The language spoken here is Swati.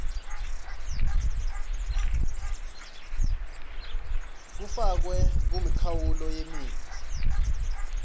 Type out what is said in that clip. kufakwe kumikhawulo yemitsi